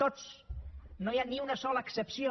tots no hi ha ni una sola excepció